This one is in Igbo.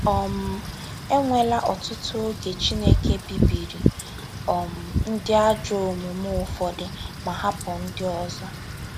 um E nweela ọtụtụ oge Chineke bibiri um ndị ajọ omume ụfọdụ ma hapụ ndị ọzọ.